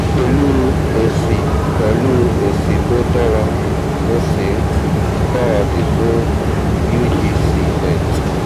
pẹ̀lú èsì pẹ̀lú èsì tó dára mo sì ń gbára dì fún ugc net